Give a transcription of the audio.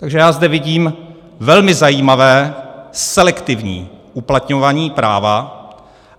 Takže já zde vidím velmi zajímavé selektivní uplatňování práva.